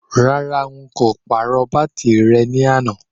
Rárá,n kò pàrọ̀ bátìrì rẹ ní àná.